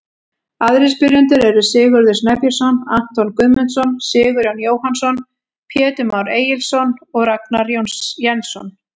Aðrir spyrjendur eru: Sigurður Snæbjörnsson, Anton Guðmundsson, Sigurjón Jóhannsson, Pétur Már Egilsson og Ragnar Jensson.